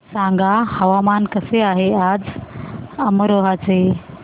सांगा हवामान कसे आहे आज अमरोहा चे